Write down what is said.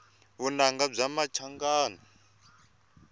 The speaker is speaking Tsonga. vunanga bya machangani